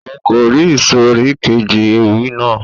Òun kò rí ìsòrí keji ewì náà